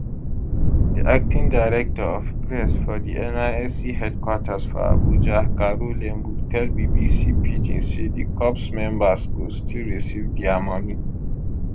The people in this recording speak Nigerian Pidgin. di acting director of press for di nysc headquarters for abuja caro lembu tell bbc pidgin say di corps members go still receive dia money